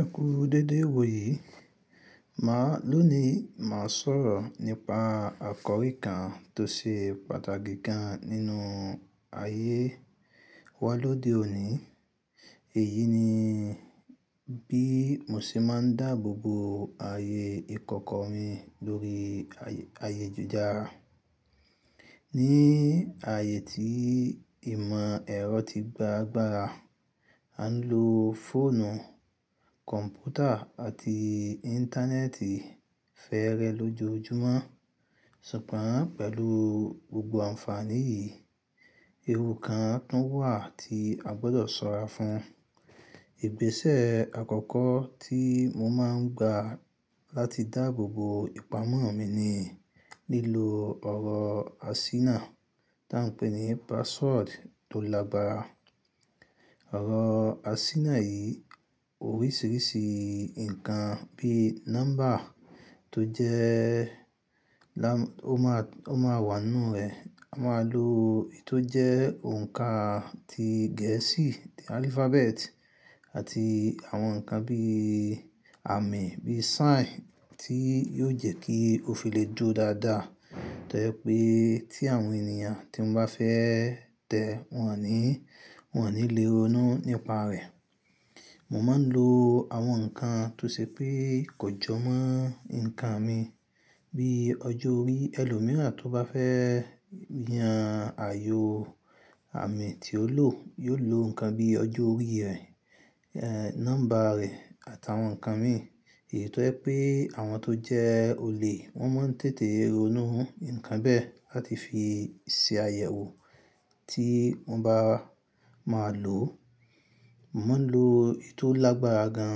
Ẹ kú dédé wò yí. Màá lónìí máa sọ̀rọ̀ nípa àkòrí kan tó ṣe pàtàkì gan nínú ayé wa lóde òní. Èyí ni bí mo ṣe máa ń dáàbòbò ayé ìkọ̀kọ̀ mi lórí ayé jùjà. Ni ayé tí ìmọ̀ ẹ̀rọ ti gba agbára, a ń lo fóònù, kọ̀m̀pútà àti íńtánẹ́ẹ̀tì fẹ́ẹ́rẹ́ lójoojúmọ́. Ṣùgbọ́n pẹ̀lú gbogbo ànfàní yìí, ewu kan tún wà tí a gbọdọ̀ ṣọ́ra fún. Ìgbésẹ̀ àkọ́kọ́ tí mo máa ń gba láti dáàbòbò ìpamọ́ mi ni lílò ọ̀rọ̀ àsínà tá ń pè ní password tó lágbára. Ọ̀rọ̀ àsínà yìí, oríṣìíríṣìí nǹkan bí nọ́mbà tó jẹ́, ó máa wà nínú rẹ̀. A máa lo èyí tó jẹ́ òǹkà ti Gẹ̀ẹ́sì, ti alphabet àti àwọn nǹkan bí àmì bí sign tí yóò jẹ́ kí ó fi lè duró dáadáa. To je pé tí àwọn ènìyàn tí wọ́n bá fẹ́ tẹ́ ẹ, wọ́n ò ní lè ronú nípa rẹ̀. Mo máa ń lo àwọn nǹkan tó ṣe pé kò jọmọ́ nǹkan mi bí ọjọ́ orí. Ẹlòmíràn tó bá fẹ́ yàn àyè òwò àmì tí ó lò, yóò lo nǹkan bí ọjọ́ orí rẹ̀, ẹ́, nọ́mbà rẹ̀ àtàwọn nǹkan mìíràn. Èyí toje pé àwọn tó jẹ́ olè wọ́n máa ń tètè ronú nǹkan bẹ́ẹ̀ láti fi ṣe àyẹ̀wò tí wọ́n bá máa lò ó. Mo máa ń lo èyí tó lágbára gan.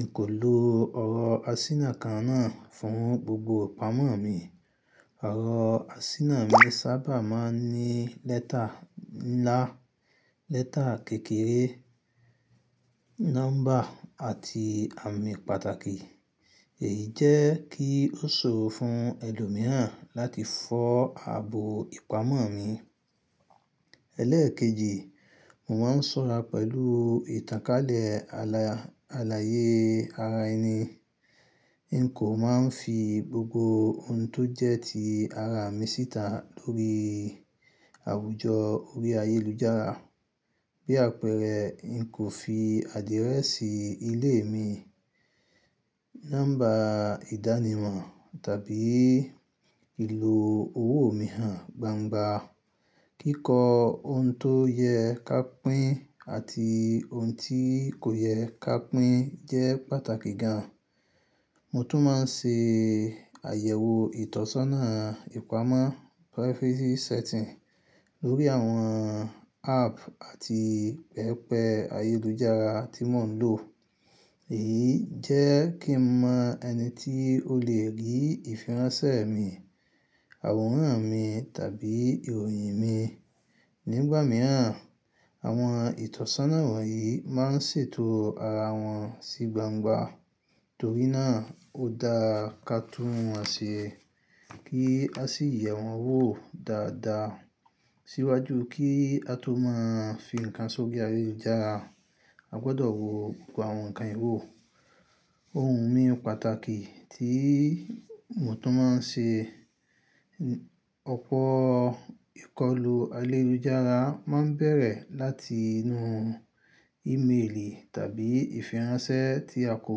N kò lo ọ̀rọ̀ àsínà kan náà fún gbogbo ìpamọ́ mi. Ọ̀rọ̀ àsínà mi sábà máa ń ní lẹ́tà ńlá, lẹ́tà kékeré, nọ́mbà àti àmì pàtàkì. Èyí jẹ́ kí ó ṣòro fún ẹlòmíràn láti fọ́ ààbò ìpamọ́ mi. Ẹlẹ́ẹ̀kejì, mo máa ń ṣọ́ra pẹ̀lú ìtànkálẹ̀ alaye ara ẹni. N kò máa ń fi gbogbo ohun tó jẹ́ ti ara mi síta lórí àwùjọ orí ayélujára. Bí àpẹẹrẹ, n kò fi àdíréṣì ilé mi, nọ́mbà ìdánimọ̀ tàbí ìlò owó mi hàn gbangba. Kíkọ́ ohun tó yẹ ká pín àti ohun tí kò yẹ ká pín jẹ́ pàtàkì gan. Mo tún máa ń ṣe àyẹ̀wò ìtọ́sọ́nà ìpamọ́ privacy setting lórí àwọn áàpù àti pẹpẹ ayélujára tí mò ń lò. Èyí jẹ́ kí n mọ ẹni tí ó lè rí ìfiránsẹ́ mi, àwòrán mi tàbí ìròyìn mi. Nígbà mìíràn, àwọn ìtọ́sọ́nà wọ̀nyí máa ń ṣètò ara wọn sí gbangba. Torí náà ó dáa ká tún wọ́n ṣe kí a sì yẹ wọn wò dáadáa síwájú kí a tó máa fi nǹkan sórí ayélujára. A gbọdọ̀ wo gbogbo àwọn nǹkan yi wò. Ohun mìíràn pàtàkì tí mò tún máa ń ṣe, ọ̀pọ̀ ìkọlù ayélujára máa ń bẹ̀rẹ̀ láti inú íméèlì tàbí ìfiránsẹ́ tí a kò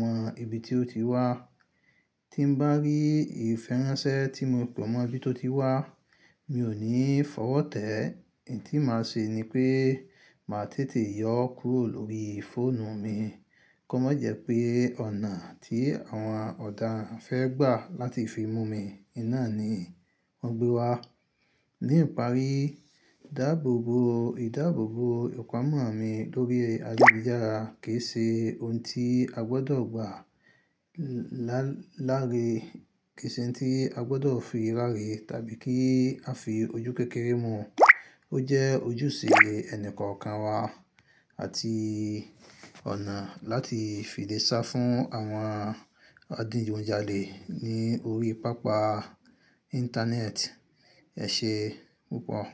mọ ibi tí ó ti wá. Tí mo bá rí ìfiránsẹ́ tí mo pẹ̀mọ́ ibi tó ti wá, mi ò ní fọwọ́ tẹ́ ẹ. Ẹ̀ní tí màá ṣe ni pé màá tètè yọ ọ́ kúrò lórí fóònù mi. Kọ́ mo jẹ́ pé ọ̀nà tí àwọn ọ̀dà fẹ́ gbà láti fi mú mi, iná ni wọ́n gbé wá. Ní ìparí, dáàbòbò ìdáàbòbò ìpamọ́ mi lórí ayélujára kì í ṣe ohun tí a gbọdọ̀ gbà lálàre, kì í ṣe ohun tí a gbọdọ̀ fi rárẹ̀ tàbí kí a fi ojú kékeré mú. Ó jẹ́ ojúṣe ẹnì kọ̀ọ̀kan wa àti ọ̀nà láti fi de sá fún àwọn adìyẹ òǹjálè ní orí pápá íńtánẹ́ẹ̀tì. Ẹ ṣe púpọ̀.